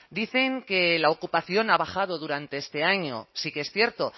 dicen que la ocupación ha bajado durante este año sí que es cierto